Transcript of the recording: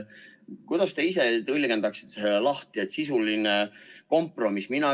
Kuidas te ise tõlgendaksite seda lahti, et on sisuline kompromiss?